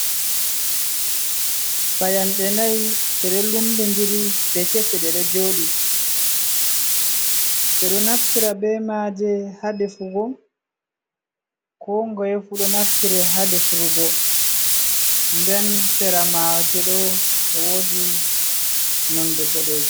Payanɗe nay, ɗe de lumbindiri de kese deɗo jooɗi, ɓe ɗo naftira bee maaje haa defugo, koo ngoye fu ɗo naftire haa defurgo, nden sera maaje ɗo woodi nonnde boɗeejum.